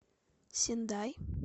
сендай